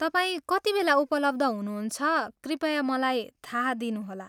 तपाईँ कतिबेला उपलब्ध हुनुहुन्छ कृपया मलाई थाहा दिनुहोला।